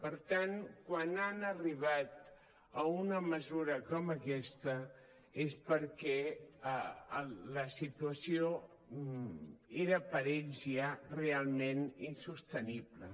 per tant quan han arribat a una mesura com aquesta és perquè la situació era per ells ja realment insostenible